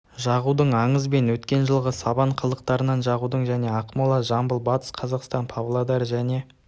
жағудың аңыз бен өткен жылғы сабан қалдықтарын жағудың және ақмола жамбыл батыс қазақстан павлодар және